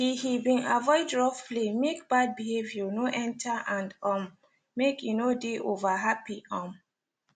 he he been avoid rough play make bad behaviour no enter and um make e no de over happy um